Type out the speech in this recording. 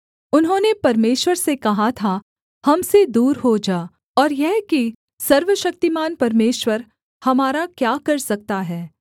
उन्होंने परमेश्वर से कहा था हम से दूर हो जा और यह कि सर्वशक्तिमान परमेश्वर हमारा क्या कर सकता है